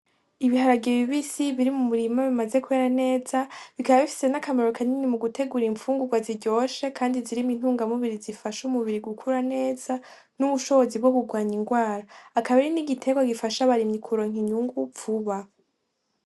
Ibiharage bibisi biri mu murima bimaze kwera neza bikaba bifise ni akamaro kanini mugutegura imfungugwa ziryoshe kandi zirimwo intungamubiri zifasha umubiri gukura neza nubushobozi bwo kurwanya ingwara ,akaba ari nigiterwa gifasha abarimyi kuronka inyungu vuba.